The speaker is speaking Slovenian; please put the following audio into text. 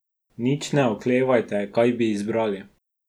Nič ne oklevajte, kaj bi izbrali.